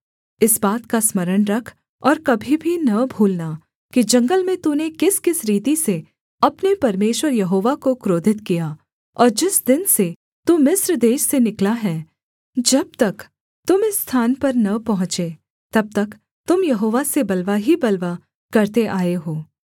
इस बात का स्मरण रख और कभी भी न भूलना कि जंगल में तूने किसकिस रीति से अपने परमेश्वर यहोवा को क्रोधित किया और जिस दिन से तू मिस्र देश से निकला है जब तक तुम इस स्थान पर न पहुँचे तब तक तुम यहोवा से बलवा ही बलवा करते आए हो